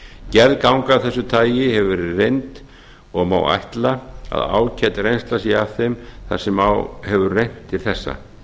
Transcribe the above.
gerð ganga af þessu tagi hefur verið reynd og má ætla að ágæt reynsla sé af þeim þar sem á hefur reynt til þessa